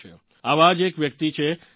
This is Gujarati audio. આવાં જ એક વ્યક્તિ છે સર્બિયન સ્કોલર ડો